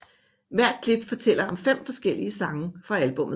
Hvert klip fortæller om fem forskellige sange fra albummet